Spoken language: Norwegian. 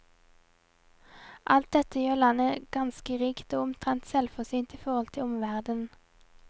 Alt dette gjør landet ganske rikt, og omtrent selvforsynt i forhold til omverdenen.